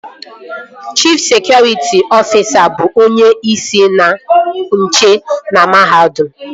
Chif sekụritị ọfisa bụ onyeisi ndị nche na mahadum